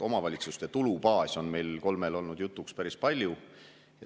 Omavalitsuste tulubaas on meil kolmel olnud jutuks päris palju.